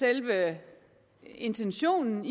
selve intentionen